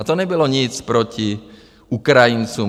A to nebylo nic proti ukrajincům.